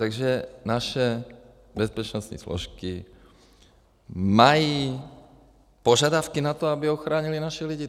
Takže naše bezpečnostní složky mají požadavky na to, aby ochránily naše lidi.